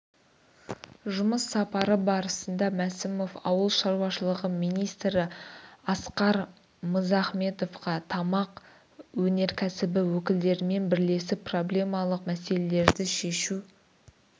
жұмыс сапары барысында мәсімов ауыл шаруашылығы министрі асқар мызахметовқа тамақ өнеркәсібі өкілдерімен бірлесіп проблемалық мәселелерді шешу